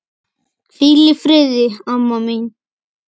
Hvíl í friði, amma mín.